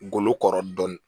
Ngolo kɔrɔ dɔn